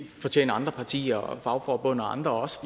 fortjener andre partier og fagforbund og andre også